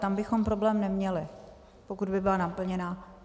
Tam bychom problém neměli, pokud by byla naplněna.